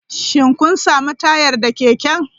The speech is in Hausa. Shin kun sami tayar da keken?